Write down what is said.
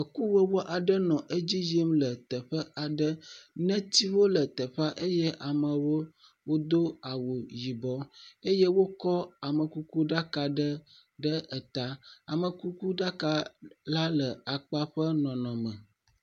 Ekuwɔwɔ aɖe nɔ edzi yim le teƒe aɖe, netiwo le teƒa eye amewo do awu yibɔ eye wokɔ amekukuɖaka ɖe eta, amekukuɖaka la le akpaƒe nɔnɔme me.